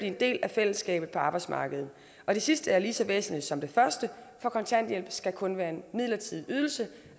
en del af fællesskabet på arbejdsmarkedet det sidste er lige så væsentligt som det første for kontanthjælp skal kun være en midlertidig ydelse